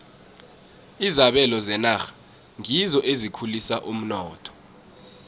izabelo zenarha ngizo ezikhulisa umnotho